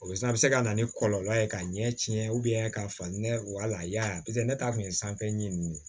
O bɛ se a bɛ se ka na ni kɔlɔlɔ ye ka ɲɛ tiɲɛ ka fa ne wal'a ne ta tun ye sanfɛ ɲɛ nin ye